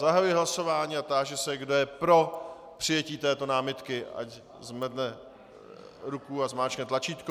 Zahajuji hlasování a táži se, kdo je pro přijetí této námitky, ať zvedne ruku a zmáčkne tlačítko.